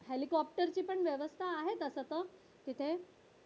हेलिकॉप्टरची पण व्यवस्था आहे तसं तर तिथे